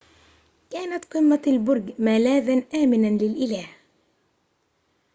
كانت قمة البرج ملاذاً آمناً للإله